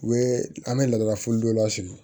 U bɛ an bɛ laada fo dɔ la sigi